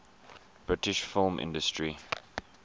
british film industry